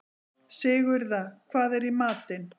Sigurða, hvað er í matinn?